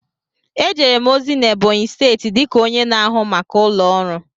Ejere m ozi na Ebonyi steeti dịka onye na-ahụ maka ụlọ ọrụ.